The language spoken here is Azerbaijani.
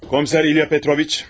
Komser İlya Petroviç.